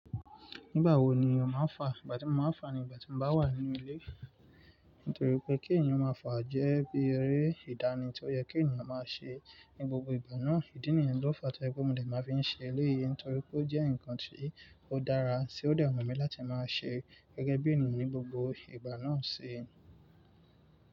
Nígbà wo ni òun máa ń fà? Ìgbà tí mo máa ń fà ni ìgbà tí mo bá wà nínú ilé. Nítorí pé kí ènìyàn ó máa fà jẹ́ bí eré ìdánì tí ó yẹ kí ènìyàn máa ṣe ní gbogbo ìgbà náà. Ìdí nìyẹn ló fa tó jẹ́ pé mo dè máa fi ń ṣe eléyìí nítorí pé ó jẹ́ ǹkan tí ó dára. Tí ó dè wùmi láti máa ṣe gẹ́gẹ́ bí ènìyàn ní gbogbo ìgbà náà ṣi.